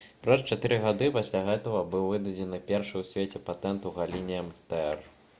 праз чатыры гады пасля гэтага быў выдадзены першы ў свеце патэнт у галіне мрт